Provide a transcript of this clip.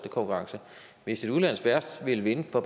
konkurrence hvis et udenlandsk værft ville vinde på